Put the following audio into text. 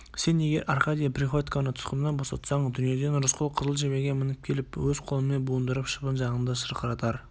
сен егер аркадий приходьконы тұтқыннан босатсаң дүниеден рысқұл қызыл жебеге мініп келіп өз қолымен буындырып шыбын жаныңды шырқыратар